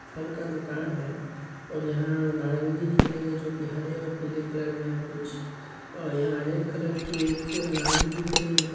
फल का दुकान है और यहाँ नारंगी दिख रही है जोकि हरे और पीले कलर में है कुछ और यहाँ रेड कलर की एक अनार भी दिख रही है।